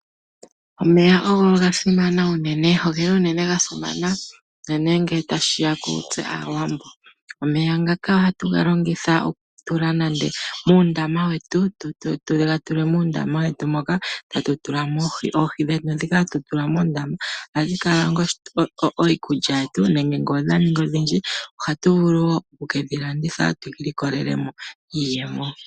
Omeya ogo ga simana unene. Ogeli unene ga simana unene ngele tashi ya kutse Aawambo. Omeya ngaka ohatu ga longitha oku tula nande muundama wetu moka tatu tula mo oohi. Oohi dhetu dhika hatu tula moondama ohadhi kala onga iikulya yetu, nenge ngele odha ningi odhindji ohatu vulu wo oku kedhi landitha tu ilikolele mo iiyemo.